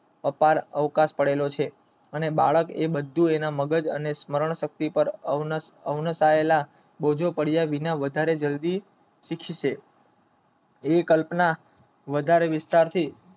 અતાર આવકાર આપેલો છે અને બાળક એ બંધુઓના મગજ અને સ્મરણ અવનિતયા એવું કાર્ય વિના જરૂરી એવી કલ્પના વધારે વિસ્થાપિત